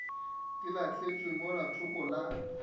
di lahlantšwe mola thoko la